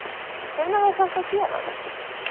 Hvenær á þetta að gerast?